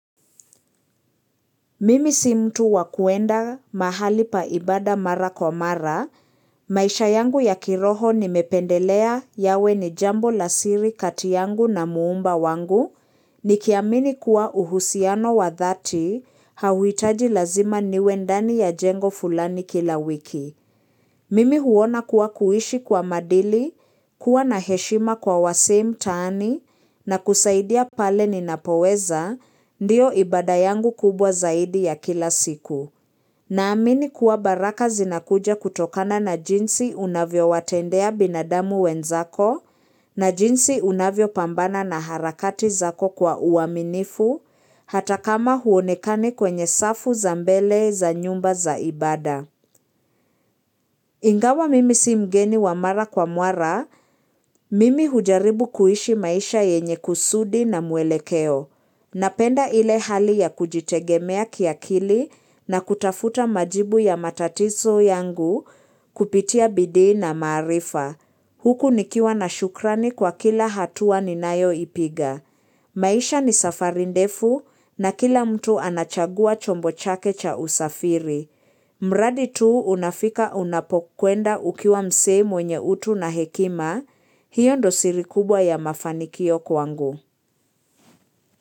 Mimi si mtu wa kuenda mahali pa ibada mara kwa mara, maisha yangu ya kiroho nimependelea yawe ni jambo la siri kati yangu na muumba wangu, nikiamini kuwa uhusiano wa dhati, hauhitaji lazima niwe ndani ya jengo fulani kila wiki. Mimi huona kuwa kuishi kwa maadili, kuwa na heshima kwa wasee mtaani, na kusaidia pale ninapoweza, ndio ibada yangu kubwa zaidi ya kila siku. Naamini kuwa baraka zinakuja kutokana na jinsi unavyowatendea binadamu wenzako, na jinsi unavyo pambana na harakati zako kwa uaminifu, hata kama huonekani kwenye safu za mbele za nyumba za ibada. Ingawa mimi si mgeni wa mara kwa muara, mimi hujaribu kuishi maisha yenye kusudi na muelekeo. Napenda ile hali ya kujitegemea kiakili na kutafuta majibu ya matatizo yangu kupitia bidii na maarifa. Huku nikiwa na shukrani kwa kila hatua ninayoipiga. Maisha ni safari ndefu na kila mtu anachagua chombo chake cha usafiri. Mradi tu unafika unapokwenda ukiwa msee mwenye utu na hekima, hiyo ndo siri kubwa ya mafanikio kwangu.